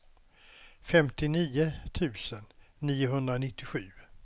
femtionio tusen niohundranittiosju